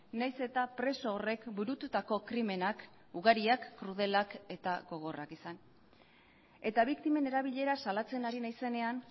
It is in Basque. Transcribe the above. nahiz eta preso horrek burututako krimenak ugariak krudelak eta gogorrak izan eta biktimen erabilera salatzen ari naizenean